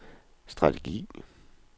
strategi